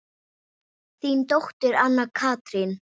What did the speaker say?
Þín dóttir, Anna Katrín.